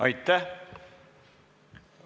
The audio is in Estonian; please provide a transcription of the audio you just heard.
Aitäh!